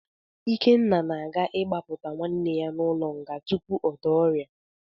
Ikenna na-aga ịgbapụta nwanne ya n’ụlọ nga tupu ọ daa ọrịa.